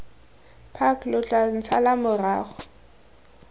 park lo tla ntshala morago